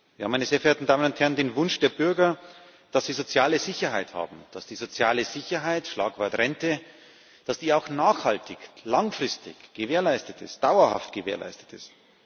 Ja, meine sehr verehrten Damen und Herren, den Wunsch der Bürger, dass sie soziale Sicherheit haben, dass die soziale Sicherheit Schlagwort Rente auch nachhaltig, langfristig, dauerhaft gewährleistet ist.